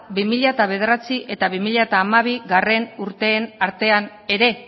bi mila bederatzi eta bi mila hamabigarrena urteen artean ere